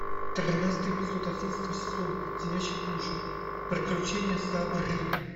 тринадцатый эпизод одиннадцатого сезона леденящие душу приключения сабрины